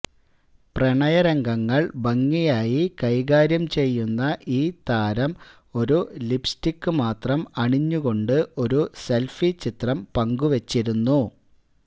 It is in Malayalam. പ്രണയരംഗങ്ങൾ ഭംഗിയായി കൈകാര്യം ചെയ്യുന്ന ഈ താരം ഒരു ലിപ്സ്റ്റിക് മാത്രം അണിഞ്ഞുകൊണ്ട് ഒരു സെൽഫി ചിത്രം പങ്കുവെച്ചിരുന്നു